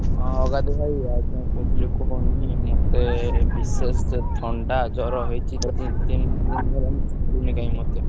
ହଁ ଅଗାଧୁ ଭାଇ ଆଉ କଣ କହୁଥିଲି କୁହନି ମତେ ବିଶେଷ ଥଣ୍ଡା, ଜ୍ବର ହେଇଛି ଦି ତିନି ଦିନି ହେଲାଣି ଛାଡ଼ୁନି କାହିଁ ମତେ।